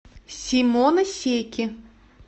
симоносеки